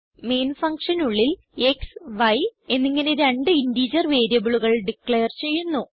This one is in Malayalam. മെയിൻ functionനുള്ളിൽ ക്സ് y എന്നിങ്ങനെ രണ്ട് ഇന്റഗർ വേരിയബിളുകൾ ഡിക്ലെയർ ചെയ്യുന്നു